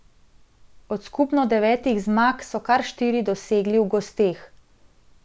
Od skupno devetih zmag so kar štiri dosegli v gosteh.